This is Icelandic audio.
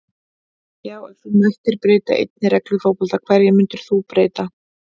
Já Ef þú mættir breyta einni reglu í fótbolta, hverju myndir þú breyta?